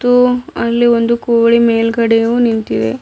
ಹು ಅಲ್ಲಿ ಒಂದು ಕೋಳಿ ಮೇಲ್ಗಡೆಯು ನಿಂತಿದೆ.